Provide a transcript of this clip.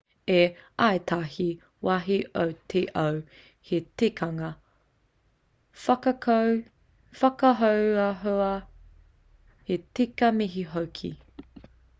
i ētahi wāhi o te ao he tikanga whakahoahoa he tika mihi hoki